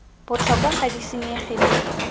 botlhokwa ga di senyege le